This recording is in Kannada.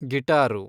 ಗಿಟಾರು